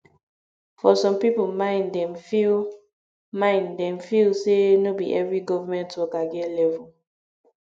for some pipo mind dem feel mind dem feel sey no be every government worker get level